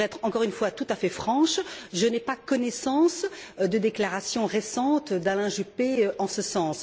Pour être encore une fois tout à fait franche, je n'ai pas connaissance de déclarations récentes d'Alain Juppé en ce sens.